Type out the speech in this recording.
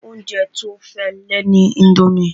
Oúnjẹ tí ó fẹ́ lè ni indomie